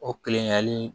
O kelen hali